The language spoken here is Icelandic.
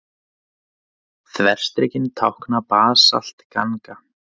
Þverstrikin tákna basaltganga.